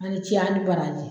ni baraji